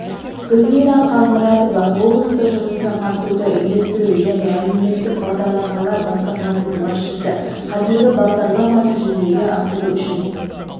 гүлмира қалмұратова облыстық жұмыспен қамтуды үйлестіру және әлеуметтік бағдарламалар басқармасының басшысы қазір бағдарламаны жүзеге асыру үшін